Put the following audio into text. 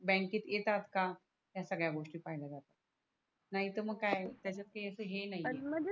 bank केत येतात का ह्या सगळ्या गोष्टी पहिल्या जातात नाही तर मग कया त्याच्या काही अस हे नाही आहे पण म्हणजे